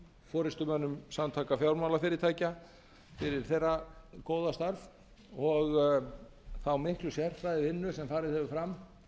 forustumönnum samtaka fjármálafyrirtækja fyrir þeirra góða starf og þá miklu sérfræðivinnu sem farið hefur fram